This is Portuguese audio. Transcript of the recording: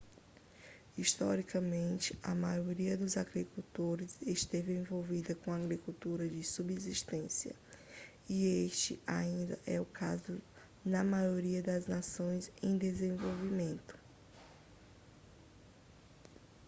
historicamente a maioria dos agricultores esteve envolvida com agricultura de subsistência e este ainda é o caso na maioria das nações em desenvolvimento